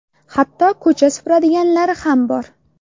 Hatto ko‘cha supuradiganlari ham bor.